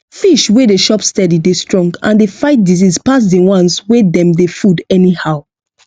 fish wey dey chop steady dey strong and dey fight disease pass the ones wey dem dey food anyhow